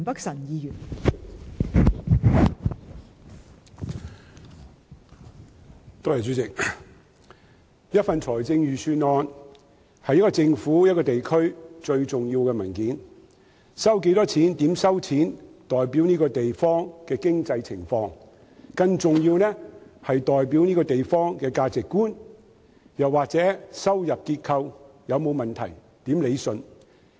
代理主席，財政預算案是一個政府、一個地區最重要的文件，收入有多少及收入來源為何，均代表該地方的經濟情況；更重要的是，它代表該地方的價值觀，亦能顯示收入結構有沒有任何問題，應如何理順等。